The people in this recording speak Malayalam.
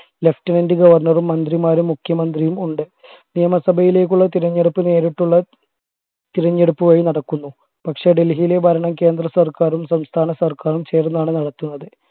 lieutenant governor റും മന്ത്രിമാരും മുഖ്യമന്ത്രിയും ഉണ്ട് നിയമസഭയിലേക്കുള്ള തിരഞ്ഞെടുപ്പ് നേരിട്ടുള്ള തിരഞ്ഞെടുപ്പ് വഴി നടക്കുന്നു പക്ഷേ ഡൽഹിയിലെ ഭരണം കേന്ദ്രസർക്കാരും സംസ്ഥാന സർക്കാരും ചേർന്നാണ് നടത്തുന്നത്